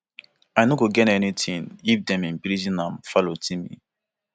i no go gain anytin if dem imprison am farotimi